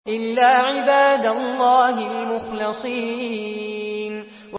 إِلَّا عِبَادَ اللَّهِ الْمُخْلَصِينَ